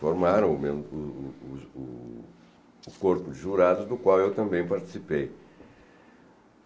Formaram o os o o o o corpo de jurados do qual eu também participei.